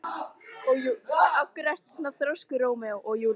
Af hverju ertu svona þrjóskur, Rómeó?